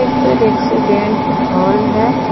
एक रेक्सोडेंट हॉल है।